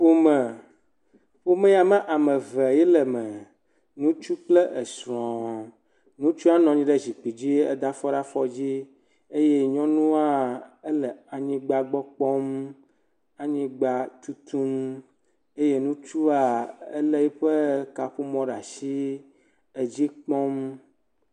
Ƒome ƒome ya me ame eve ye le eme. Ŋutsu kple esrɔ̃. Ŋutsua nɔ anyi ɖe zikpui dzi heda afɔ ɖe afɔ dzi eye nyɔnua ele anyigba gbɔ kpɔ. Anyigba tutum eye ŋutsua ele kaƒomɔ ɖe asi edzi kpɔm.